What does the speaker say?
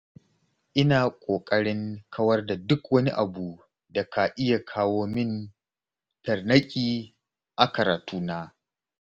Ina ƙoƙarin kawar da duk wani abu da ka iya kawo min tarnaƙi a karatuna.